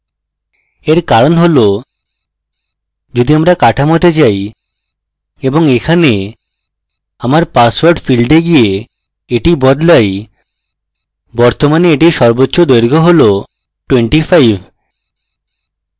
এর কারণ হল যদি আমরা কাঠামোতে যাই এবং এখানে আমাদের পাসওয়ার্ড ফীল্ডে গিয়ে that বদলাই বর্তমানে এটির সর্বোচ্চ দৈর্ঘ্য হল 25